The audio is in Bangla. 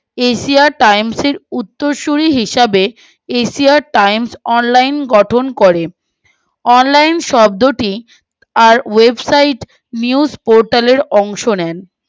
asia times এর উত্তরসূরি হিসাবে asia times online গঠন করে online শব্দটি আর website minus protal এর অংশ নেয়